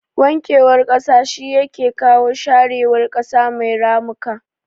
Wankewar kasa shi yake kawo yashewar kasa mai ramuka